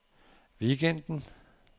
weekenden